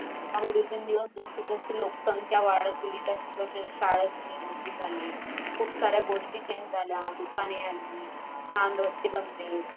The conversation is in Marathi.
आणि दिवसेंदिवस जशे जशे लोकसंख्या वाढत गेली तशे तसे शाळेची निर्मिती झाली. खूप साऱ्या गोष्टी change झाल्या, दुकाने आली, छान रास्ते बनलेत.